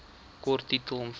kort titel omvang